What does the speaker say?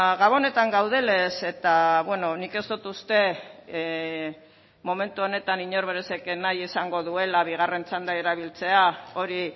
gabonetan gaudenez eta beno nik ez dut uste momentu honetan inork esango duela bigarren txanda erabiltzea hori